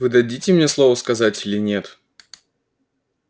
вы дадите мне слово сказать или нет